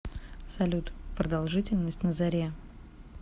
салют продолжительность на заре